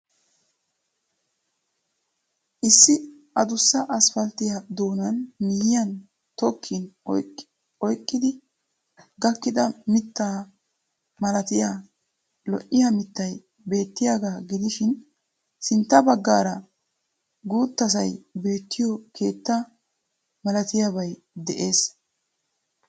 Issi addussa asphalitiya doonaan miyiyan tokkin oyqqidi gakkida mitta malattiya lo'ya mittay beettiyaagaa gidishin sintta bagaara guttttasay beettiyo keetta malatiyaabay de'ees.